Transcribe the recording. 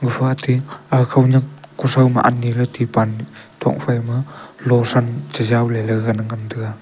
gapha te a khownyak kuthro ma aniley tripal thok phaima lothran chejaw leley ngan taiga.